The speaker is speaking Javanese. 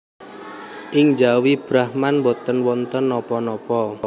Ing njawi Brahman boten wonten napa napa